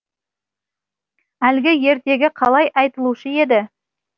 әлгі ертегі қалай айтылушы еді